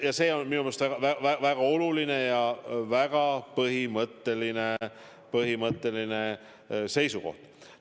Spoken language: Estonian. Ja see on minu arust väga oluline ja väga põhimõtteline seisukoht.